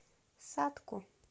сатку